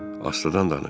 Astadan danış.